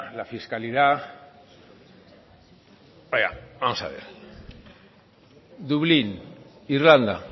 la fiscalidad vaya vamos a ver dublín irlanda